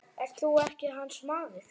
Ert þú ekki hans maður?